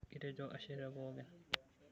Kitejo ashe tepookin.